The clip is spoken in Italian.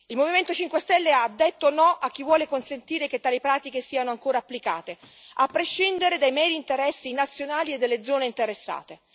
Il Movimento 5 Stelle ha detto no a chi vuole consentire che tali pratiche siano ancora applicate, a prescindere dai meri interessi nazionali e delle zone interessate.